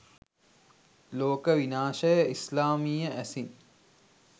ලෝක විනාශය ඉස්ලාමීය ඇසින්